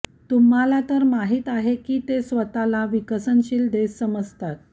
तुम्हाला तर माहिती आहे की ते स्वतःला विकसनशील देश समजतात